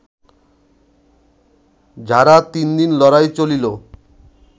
ঝাড়া তিনদিন লড়াই চলিল